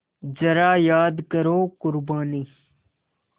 ज़रा याद करो क़ुरबानी